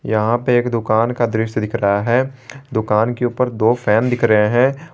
यहां पे एक दुकान का दृश्य दिख रहा है दुकान के ऊपर दो फैन दिख रहे हैं।